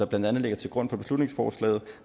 blandt andet ligger til grund for beslutningsforslaget